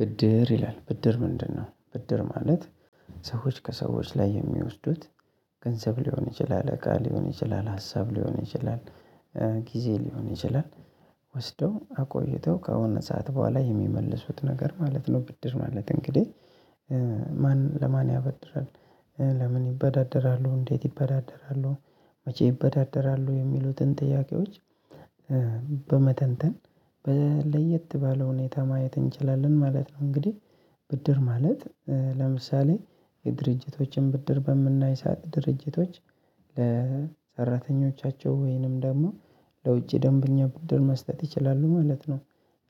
ብድር ይላል ብድር ምንድነው? ብድር ማለት ሰዎች ከሰዎች ላይ የሚወስዱት ገንዘብ ሊሆን ይችላል እቃ ሊሆን ይችላል ሀሳብ ሊሆን ይችላል ጊዜ ሊሆን ይችላል ወስደው አቆይተው ከሆነ ሰዓት በኋላ የሚመልሱት ነገር ማለት ነው። ብድር ማለት እንግዲህ ማን ለማን ያበድራል ለምን ይበዳደራሉ እንዴት ይበዳደራሉ መቼ ይበዳደራሉ የሚሉትን ጥያቄዎች። በመተንተን ለየት ባለው ሁኔታ ማየት እንችላለን ማለት ነው። እንግዲህ ብድር ማለት ለምሳሌ የድርጅቶችን ብድር በምናይ ሳዓት ድርጅቶች ለሰራተኞቻቸው ወይንም ደግሞ ለውጭ ደንበኛ ቡድን መስጠት ይችላሉ ማለት ነው።